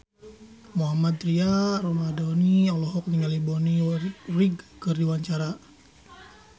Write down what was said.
Mohammad Tria Ramadhani olohok ningali Bonnie Wright keur diwawancara